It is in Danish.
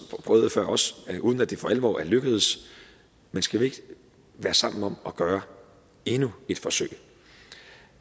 uden at det for alvor er lykkes men skal vi ikke være sammen om at gøre endnu et forsøg